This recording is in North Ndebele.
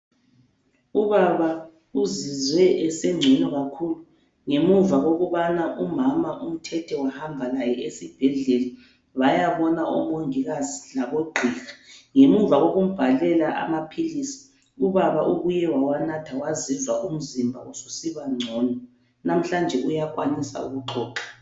Ubaba uzizwe esengcono kakhulu ngemuva kokubana umama umthethe wahamba laye esibhedlela wayabona omongikazi labo gqiha ngemuva kokumbhalela amaphilisi ubaba ubuye wawanatha wazizwa umzimba usibangcono lamhlanje uyakwanisa ukuxoxa.